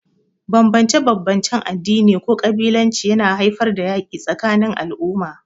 Bambance-bambancen addini ko kabilanci yana haifar da yaƙi tsakanin al'umma.